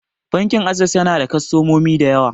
Bankin Ases yana da kostomomi da yawa.